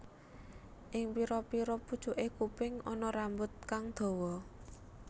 Ing pira pira pucuke kuping ana rambut kang dawa